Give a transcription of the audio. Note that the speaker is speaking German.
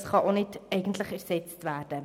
Dieses kann auch nicht einfach ersetzt werden.